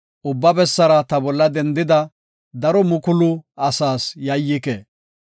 Ubba bessara ta bolla dendida, daro mukulu asaas yayyike.